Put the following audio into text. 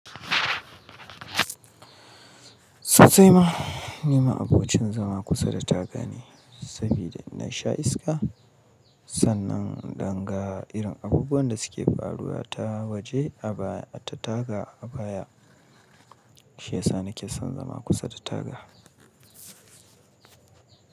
Sosaima nima abokin zama kusa da taga ne, sabida na sha iska. Sannan dangga irin abubuwan da suke faruwa ta waje a baya, ta taga a baya. Shi yasa nake son zama kusa da taga.